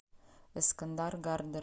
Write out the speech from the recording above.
эскандар гардер